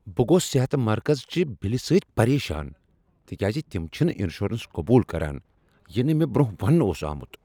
بہٕ گوس صحت مرکزٕ چہ بلہ سۭتۍ پریشان تکیاز تم چھنہٕ انشورنس قبوٗل کران، یہ نہٕ مےٚ برٛونٛہہ ونٛنہٕ اوس آمٗت ۔